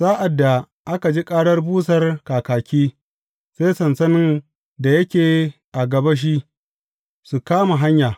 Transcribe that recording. Sa’ad da aka ji karar busar kakaki, sai sansanin da yake a gabashi, su kama hanya.